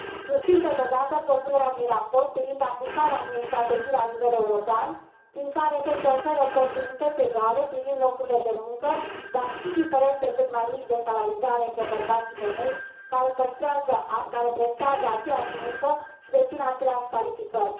Susțin totodată propunerea din raport privind aplicarea unei strategii la nivel european prin care să se ofere oportunități egale privind locurile de muncă, dar și diferențe cât mai mici de salarizare între bărbați și femei care prestează aceeași muncă și dețin aceleași calificări.